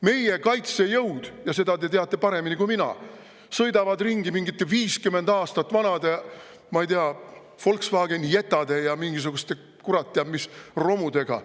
Meie kaitsejõud – ja seda te teate paremini kui mina – sõidavad ringi mingite 50 aastat vanade, ma ei tea, Volkswagen Jettade ja mingisuguste kurat teab mis romudega.